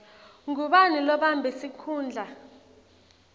ngubani lobambe sikhundla